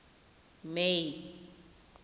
may